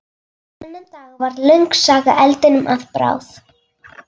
Þennan dag varð löng saga eldinum að bráð.